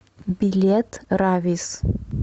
билет равис